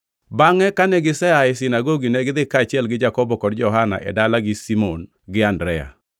Bangʼe kane gisea e sinagogi negidhi kaachiel gi Jakobo kod Johana e dalagi Simon gi Andrea.